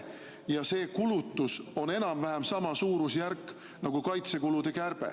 Ja see kulutus on enam-vähem sama suurusjärk nagu kaitsekulude kärbe.